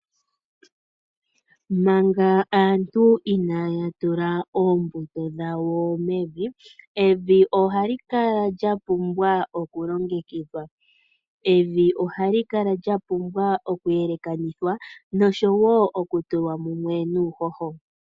Manga aantu inaaya tula oombuto dhawo mevi , evi ohali kala lya pumbwa oku longekidhwa . Evi ohali kala lya pumbwa oku yelekanithwa nosho woo oku tulwa mumwe nuuhoho .